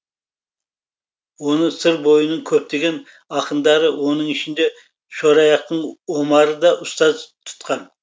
оны сыр бойының көптеген ақындары оның ішінде шораяқтың омары да ұстаз тұтқан